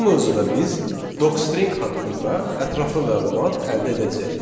Bu mövzuda biz Docstring haqqında ətraflı məlumat əldə edəcəyik.